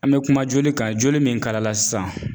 An bɛ kuma joli kan joli min kalala sisan